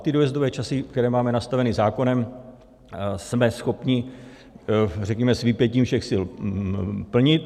A ty dojezdové časy, které máme nastaveny zákonem, jsme schopni, řekněme, s vypětím všech sil plnit.